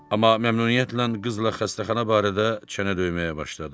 Amma məmnuniyyətlə qızla xəstəxana barədə çənə döyməyə başladı.